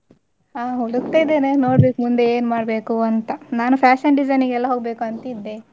ಹ ಹುಡುಕ್ತಾ ಇದ್ದೇನೆ ನೋಡ್ಬೇಕು ಮುಂದೆ ಏನ್ ಮಾಡ್ಬೇಕು ಅಂತ ನಾನು fashion design ಗೆಲ್ಲ ಹೋಗ್ಬೇಕಂತ ಇದ್ದೆ.